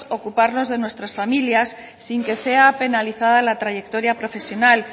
ocuparnos de nuestras familias sin que sea penalizada la trayectoria profesional